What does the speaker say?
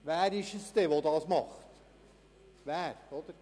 Wer ist es denn, der das tut?